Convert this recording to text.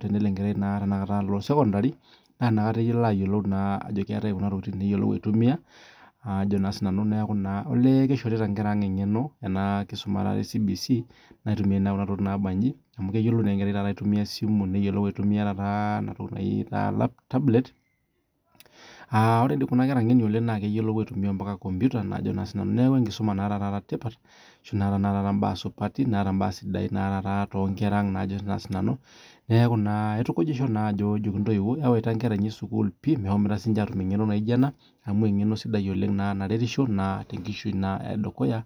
tenelo enkerai sekondari naa enakata elo ayiolou Ajo keetae Kuna tokitin neyiolou aitumia olee kishorita enkera ang eng'eno ena kisuma ee CBC amu keyiolou naa taata enkerai aitumia esimu neyiolou aitumia tablet aa ore kunakera ng'eno oleng naa keyiolou aitumia mbaka kompita neeku enkisuma nataa tipat netaa mbaa supati too Nkera ang neeku aitukujisho ajoki ntoyiwuo ewaita Nkera inyi sukuul mehomoite atum eng'eno anijio ena amu eng'eno sidai ena naretisho tenkishui edukuya